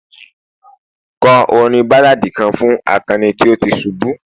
kọ orin balladi kan fún akani tí o ti subu